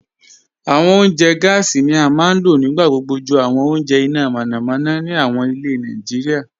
Awọn ọ̀unjẹ́ gásí ni a maa n lọ̀ nígbàgbogbo jù awọn ọ̀unjẹ́ iná mọ̀nàmọ̀nà ni awọn ilẹ̀ Naijíríà